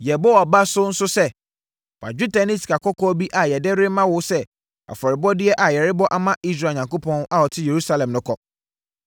Yɛbɔ wʼaba so nso sɛ, fa dwetɛ ne sikakɔkɔɔ bi a yɛde rema wo sɛ afɔrebɔdeɛ a yɛrebɔ ama Israel Onyankopɔn a ɔte Yerusalem no kɔ.